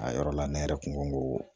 A yɔrɔ la ne yɛrɛ kun ko